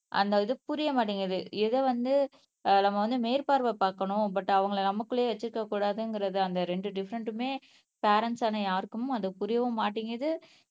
அந்த இது புரிய மாட்டேங்குது எத வந்து நம்ப வந்து மேற்பார்வை பாக்கணும் பட் அவங்களை நமக்குள்ளேயே வச்சுக்க கூடாதுங்கிறது அந்த ரெண்டு டிஃபரென்ட்டுமே பரெண்ட்ஸ் ஆன யாருக்கும் அது புரியவும் மாட்டேங்குது.